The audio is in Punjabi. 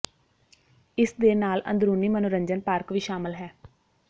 ਇਸ ਦੇ ਨਾਲ ਅੰਦਰੂਨੀ ਮਨੋਰੰਜਨ ਪਾਰਕ ਵੀ ਸ਼ਾਮਲ ਹੈ